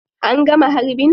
An gama harbin?